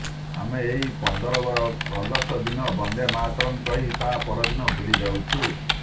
ଆମେ ଏହି ପନ୍ଦର ଅଗଷ୍ଟ ଦିନ ବନ୍ଦେ ମାତରଂ କହି ତା ପରଦିନ ଭୁଲିଯାଉଛୁ